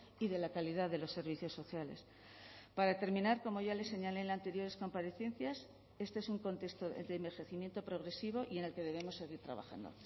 y de la calidad de los servicios sociales para terminar como ya le señalé en anteriores comparecencias este es un contexto de envejecimiento progresivo y en el que debemos seguir trabajando